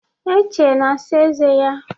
Eche na-asa eze ya.